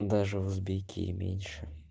даже узбеки и меньше